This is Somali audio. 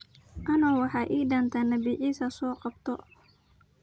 Ano maxa ii dambta nabii Issa soqabto.